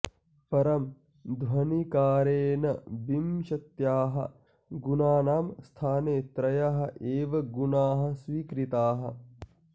परं ध्वनिकारेण विंशत्याः गुणानां स्थाने त्रयः एव गुणाः स्वीकृताः